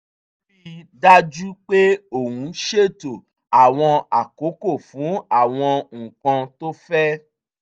ó rí i dájú pé òun ṣètò àwọn àkókò fún àwọn nǹkan tó fẹ́